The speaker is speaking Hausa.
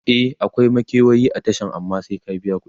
e akwai makewayi a Tashan amma sai ka biya kudi